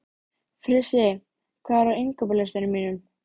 Frissi, hvað er á innkaupalistanum mínum?